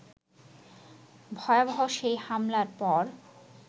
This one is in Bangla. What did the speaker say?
ভয়াবহ সেই হামলার পর